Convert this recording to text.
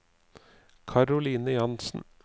Karoline Jansen